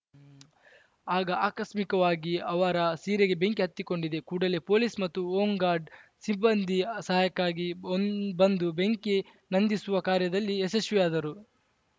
ಆಗ ಆಕಸ್ಮಿಕವಾಗಿ ಅವರ ಸೀರೆಗೆ ಬೆಂಕಿ ಹೊತ್ತಿಕೊಂಡಿದೆ ಕೂಡಲೇ ಪೊಲೀಸ್‌ ಮತ್ತು ಹೊಂಗಾರ್ಡ್‌ ಸಿಬ್ಬಂದಿ ಸಹಾಯಕ್ಕೆ ಒಂದ್ ಬಂದು ಬೆಂಕಿ ನಂದಿಸುವ ಕಾರ್ಯದಲ್ಲಿ ಯಶಸ್ವಿಯಾದರು